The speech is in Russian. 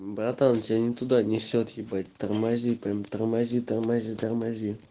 братан тебя не туда несёт ебать тормози прям тормози тормози тормози